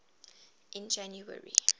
in january